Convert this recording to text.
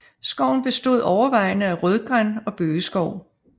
Skoven består overvejende af rødgran og bøgeskov